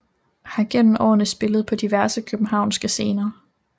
Har gennem årene spillet på diverse københavnske scener